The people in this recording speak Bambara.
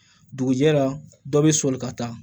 Dugujɛ la dɔ bɛ soli ka taa